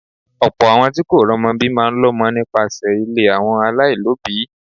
Ọ̀pọ̀ àwọn tí kò romo bí máa ń lọmọ nípasẹ̀ ilé àwọn alailobi.